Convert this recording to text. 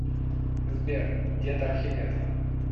сбер дед архимед